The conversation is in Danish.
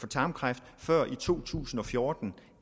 tarmkræft før i to tusind og fjorten